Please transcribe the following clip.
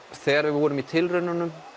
þegar við vorum í tilraununum